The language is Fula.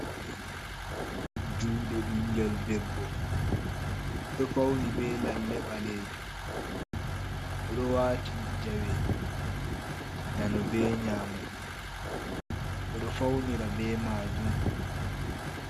Juɗe ɓingel debbo, ɗo fauni ɓe lalle ɓale jum, oɗo wati jawe nano be nyamo, ɓedo faunira ɓe majum.